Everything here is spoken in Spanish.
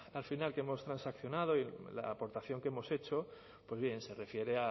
al final que hemos transaccionado la aportación que hemos hecho se refiere